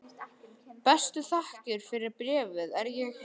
Bestu þakkir fyrir bréfið er ég hef móttekið.